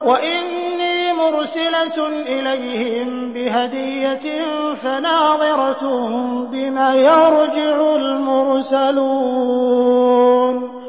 وَإِنِّي مُرْسِلَةٌ إِلَيْهِم بِهَدِيَّةٍ فَنَاظِرَةٌ بِمَ يَرْجِعُ الْمُرْسَلُونَ